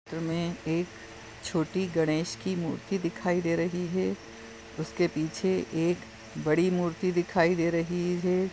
एक छोटी गणेश की मूर्ति दिखाई दे रही है उसके पीछे एक बड़ी मूर्ति दिखाई दे रही है।